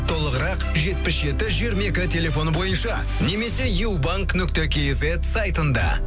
толығырақ жетпіс жеті жиырма екі телефоны бойынша немесе юбанк нүкте кизет сайтында